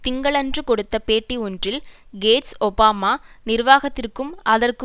திங்களன்று கொடுத்த பேட்டி ஒன்றில் கேட்ஸ் ஒபாமா நிர்வாகத்திற்கும் அதற்கு